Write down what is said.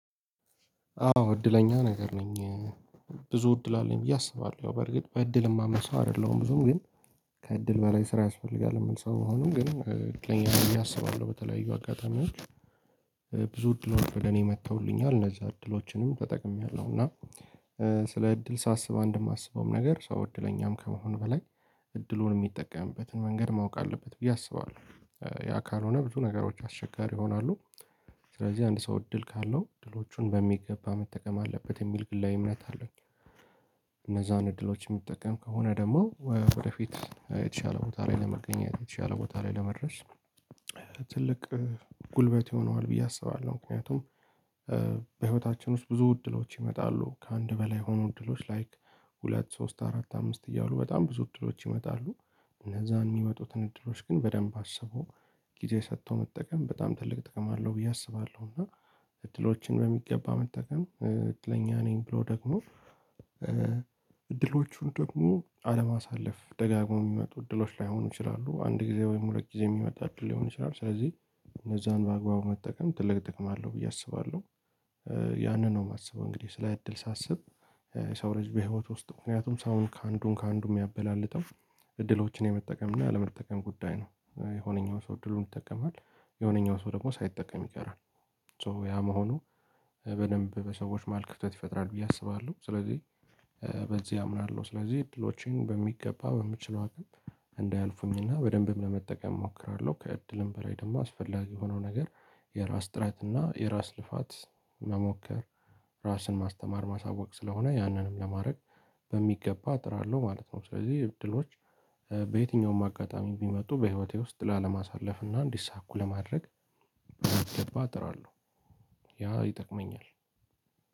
አዎ እድለኛ ነገር ነኝ እ ብዙ እድል አለኝ ብዬ አስባለሁ ያው በእርግጥ በእድል የማምን ሰው አይደለም ብዙም ግን ከእድል በላይ ስራ ያስፈልጋል ምል ሰው መሆኑም ግን እ እድለኛ ብየ አስባለሁ በተለያዩ አጋጣሚዎች እ ብዙ እድሎች ወደ እኔ መጥተውልኛል እነዛ እድሎችንም ተጠቅሜያለሁ እና እእ ስለ እድል ሳስብ አንድ የማስበውም ነገር ሰው እድለኛም ከመሆን በላይ እድሉን የሚጠቀምበትን መንገድ ማወቅ አለበት ብዬ አስባለሁ እ ያ ካልሆነ ብዙ ነገሮች አስቸጋሪ ይሆናሉ ስለዚህ አንድ ሰው እድል ካለው እድሎቹን በሚገባ መጠቀም አለበት የሚል ግላዊ እምነት አለኝ። እነዛን እድሎች የሚጠቀም ከሆነ ደግሞ ወደፊት እ የተሻለ ቦታ ላይ ለመገኘት የተሻለ ቦታ ላይ ለመድረስ ትልቅ እ ጉልበት ይሆነዋል ብዬ አስባለሁ። ምክንያቱም እ በህይወታችን ውስጥ ብዙ እድሎች ይመጣሉ ከአንድ በላይ የሆኑ እድሎች ላይክ ሁለት ሶስት አራት አምስት እያሉ በጣም ብዙ እድሎች ይመጣሉ። እነዛን የሚመጡትን እድሎች ግን በደንብ አስቦ ጊዜ ሰጥቶ መጠቀም በጣም ትልቅ ጥቅም አለው ብዬ አስባለሁ። እና እድሎችን በሚገባ መጠቀም እድለኛ ነኝ ብሎ ደግሞ እ እድሎቹን ደግሞ አለማሳለፍ ደጋግሞ የሚመጡ እድሎች ላይሆኑ ይችላሉ አንድ ጊዜ ወይም ሁለት ጊዜ የሚመጣ አድል ሊሆን ይችላል። ስለዚህ እነዛን በአግባቡ መጠቀም ትልቅ ጥቅም አለው ብዬ አስባለሁ። እ ያንን ነው የማስበው እንግዲህ ስለ እድል ሳስብ እ የሰው ልጅ በህይወት ውስጥ ምክንያቱም ሰውን ከአንዱም ከአንዱም ሚያበላለጠው እድሎችን የመጠቀም እና ያለመጠቀም ጉዳይ ነው የሆነኛው ሰው እድሉን ይጠቀማል የሆነኛው ሰው ደግሞ ሳይጠቀም ይቀራል። ሶ ያ መሆኑ እ በደንብ በሰዎች ማህል ክፍተት ይፈጥራል ብዬ አስባለሁ። ስለዚህ እእ በዚህ አምናለሁ ስለዚህ እድሎቼን በሚገባ በምችለው አቅም እንዳያልፉኝና በደንብም ለመጠቀም እሞክራለሁ ከእድልም በላይ ደግሞ አስፈላጊ ሆኖ ነገር የራስ ጥረት እና የራስ ልፋት መሞከር ራስን ማስተማር ማሳወቅ ስለሆነ ያንንም ለማድረግ በሚገባ አጥራለሁ ማለት ነው። ስለዚህ እድሎች እ በየትኛውም አጋጣሚ ቢመጡ በህይወቴ ውስጥ ላለማሳለፍ እና እንዲሳኩ ለማድረግ በሚገባ አጥራለሁ። ያ ይጠቅመኛል።